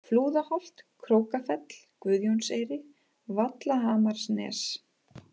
Flúðaholt, Krókafell, Guðjónseyri, Vallhamarsnes